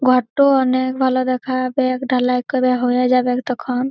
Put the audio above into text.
ঘরটো অনেক ভালো দেখাবে ঢালাই করা হয়ে যাবেক তখন।